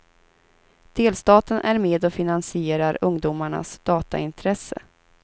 Delstaten är med och finansierar ungdomarnas dataintresse.